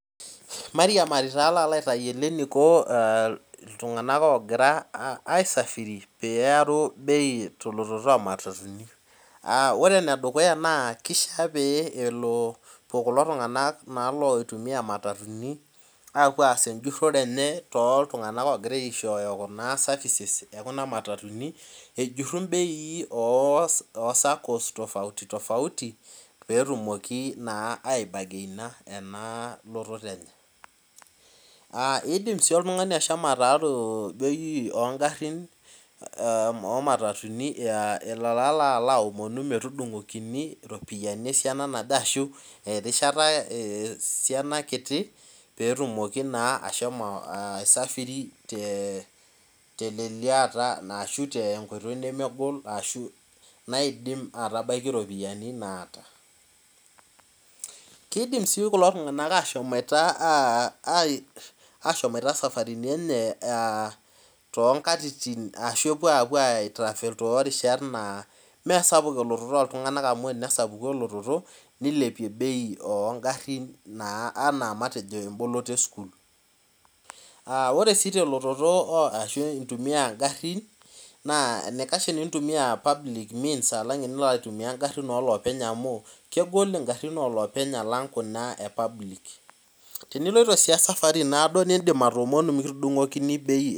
Mairiamari taa palo aitayiolo eniko ltunganak ogira aisafiri pearu bei tematatuni aa ore enedukuya na kisha pelo kulo tunganak oitumia imatatuni aas ejurore enye tekulotunganak ejuru mbei osakos petumoki aibageina ena lototo enye aa idim oltungani ashomo ataaru bei omatatuni metudungokini ropiyani esiana naje ashu erishata esiana kiti petumoki ashomo aisafiri teleliata ashu tenkoitoi nemegol naidim atabaki ropiyani naata kidim si kulo tunganak ashomoito safarinu enye tonkatitin nemesapuk elototo oltunganak amu ore tenaku sapuk elototo oltunganak nilepie bei ongarin anaa emboloto esukul ore si intumia ngarin amu kegol ngarin olopeny alang kuna e public teniloito si esafari naado nidim atoomonu mikitudungikini bei.